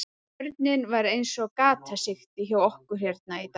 Vörnin var eins og gatasigti hjá okkur hérna í dag.